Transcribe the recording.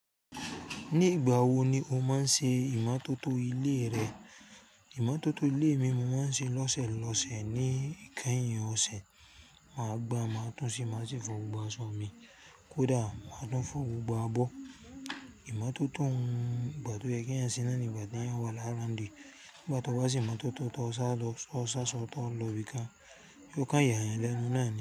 Ní ìgbà wo ni o máa ń ṣe ìmótótó ilé rẹ? Ìmọ́tótó ilé mi, mo máa ń ṣe lọ́sẹ̀ lọ́sẹ̀. Ní ìkẹ́yìn ọ̀sẹ̀, màá gbá, màá tún ṣì máa ṣe fọ̀ gbogbo aṣọ mi. Kódà máa dán fún gbogbo abọ́. Ìmótótó ń gbà tó yẹ kí eeyan ṣe náà ni ìgbà tí eeyan wà ni around. Ngba tó bá se ìmótótó tó sá lọ sọ sá sọ tó lọ ibi kán, yóò kan ya eyan lẹ́nu náà ni.